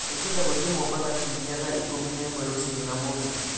Nĩ ngwenda gũthiĩ mombatha kiũmia thaa ikũmi na ĩmwe rũcinĩ na mũgĩthĩ